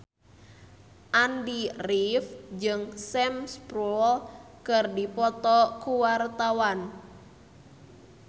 Andy rif jeung Sam Spruell keur dipoto ku wartawan